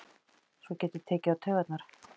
Sem getur tekið á taugarnar.